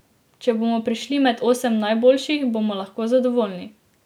Če bomo prišli med osem najboljših, bomo lahko zadovoljni.